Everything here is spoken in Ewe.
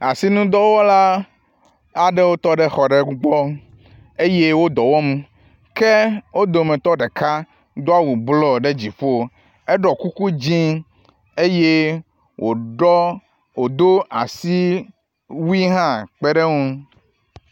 Asinudɔwɔla aɖewo tɔ ɖe xɔ aɖe gbɔ eye wo dɔ wɔm ke wo dometɔ ɖeka do awu blɔ ɖe dziƒo eɖɔ kuku dzi eye woɖɔ wodo asiwu hã kpe ɖe eŋu.